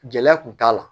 Gɛlɛya kun t'a la